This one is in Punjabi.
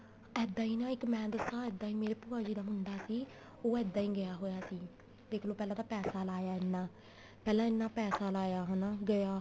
ਇੱਦਾਂ ਈ ਨਾ ਇੱਕ ਮੈਂ ਦੱਸਾਂ ਇੱਦਾਂ ਈ ਮੇਰੇ ਭੂਆ ਜੀ ਦਾ ਮੁੰਡਾ ਸੀ ਉਹ ਇੱਦਾਂ ਈ ਗਿਆ ਹੋਇਆ ਸੀ ਦੇਖਲੋ ਪੈਸਾ ਲਾਇਆ ਇੰਨਾ ਪਹਿਲਾਂ ਇੰਨਾ ਪੈਸਾ ਲਾਇਆ ਹਨਾ ਗਿਆ